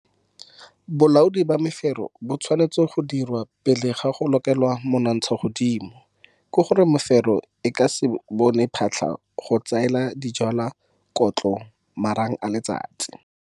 Bolaodi ba mefero bo tshwanetse go dirwa pele ga go lokela monontshagodimo. Ke go re mefero e ka se bone phatlha go tsaela dijwalwa kotlo le marang a letsatsi.